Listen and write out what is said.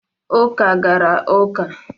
Uka gara uka.